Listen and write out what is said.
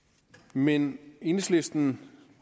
men enhedslisten